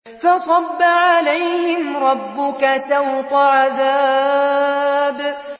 فَصَبَّ عَلَيْهِمْ رَبُّكَ سَوْطَ عَذَابٍ